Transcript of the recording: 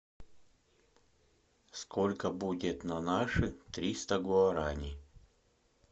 сколько будет на наши триста гуарани